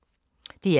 DR K